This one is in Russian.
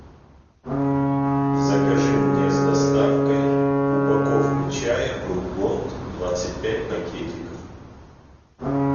закажи мне с доставкой упаковку чая брук бонд двадцать пять пакетиков